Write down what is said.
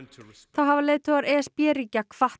þá hafa leiðtogar e s b ríkja hvatt